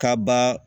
Kaba